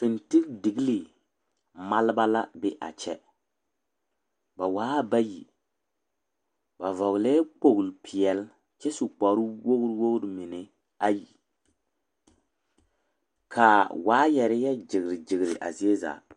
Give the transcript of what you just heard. Fintildiglii maaleba la be a kyɛ ba waa bayi ba vɔgle la kpolipeɛle kyɛ su kparre wogri mine ka waayare yɔ gyere a zie zaa.